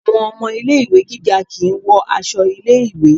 Àwọn ọmọ ilé ìwé gíga kìí wọ aṣọ ilé ìwé.